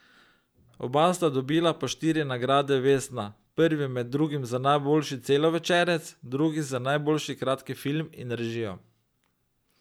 Oba sta dobila po štiri nagrade vesna, prvi med drugim za najboljši celovečerec, drugi za najboljši kratki film in režijo.